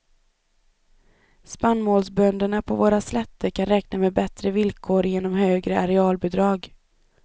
Spannmålsbönderna på våra slätter kan räkna med bättre villkor genom högre arealbidrag.